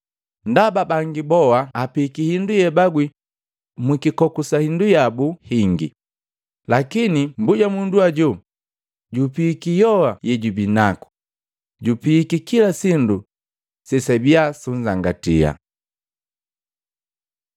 Ndaba bangi boa apiiki hindu yeabagwi mukikoku sa indu yabu hingi, lakini mbujamundu hajo jupiiki yoa yejubinaku, jupiiki kila sindu sesabia sunzangatia.”